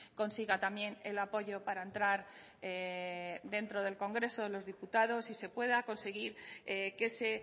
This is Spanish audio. consiga también el apoyo para entrar dentro del congreso de los diputados y se pueda conseguir que se